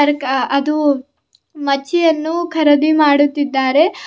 ಅರ್ಕ ಅದು ಮಚ್ಚಿಅನ್ನು ಖರದಿ ಮಾಡುತ್ತಿದ್ದಾರೆ.